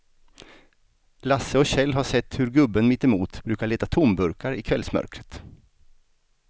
Lasse och Kjell har sett hur gubben mittemot brukar leta tomburkar i kvällsmörkret.